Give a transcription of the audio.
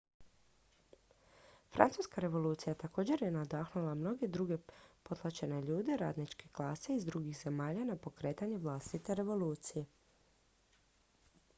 francuska revolucija također je nadahnula mnoge druge potlačene ljude radničke klase iz drugih zemalja na pokretanje vlastite revolucije